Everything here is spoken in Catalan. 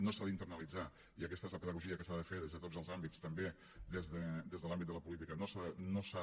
no s’ha d’internalitzar i aquesta és la pedagogia que s’ha de fer des de tots els àmbits també des de l’àmbit de la política no s’ha